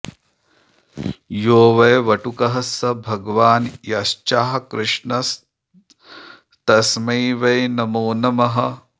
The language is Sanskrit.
यो वै वटुकः स भगवान् यश्चाकृष्णस्तस्मै वै नमो नमः